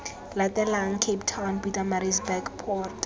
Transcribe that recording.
latelang cape town pietersburg port